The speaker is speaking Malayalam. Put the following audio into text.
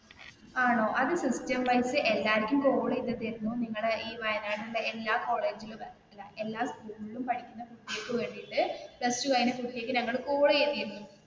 ആണോ അത് സിസ്റ്റം വൈസ് എല്ലാവർക്കും കാൾ ചെയ്തതായിരുന്നു നിങ്ങളുടെ ഈ വായനാടുള്ള എല്ലാ കോളേജിലും എല്ലാ സ്കൂളിലും പഠിക്കുന്ന കുട്ടികൾക്ക് വേണ്ടിയിട്ടു പ്ലസ് ടു കഴിഞ്ഞ കുട്ടികൾക്ക് ഞങ്ങൾ കാൾ ചെയ്തതായിരുന്നു.